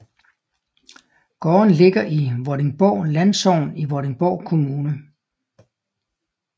Gården ligger i Vordingborg Landsogn i Vordingborg Kommune